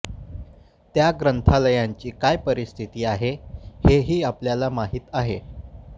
त्या ग्रंथालयांची काय परिस्थिती आहे हे हि आपल्याला माहित आहे